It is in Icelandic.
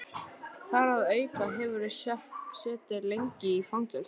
Þar að auki hefurðu setið lengi í fangelsi